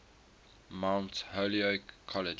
mount holyoke college